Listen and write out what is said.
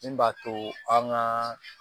Min b'a to an gaa